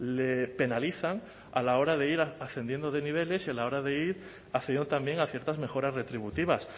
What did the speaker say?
le penalizan a la hora de ir ascendiendo de niveles y a la hora de ir accediendo también a ciertas mejoras retributivas